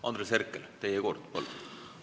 Andres Herkel, teie kord, palun!